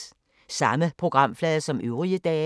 Samme programflade som øvrige dage